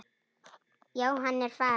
Já, hann er farinn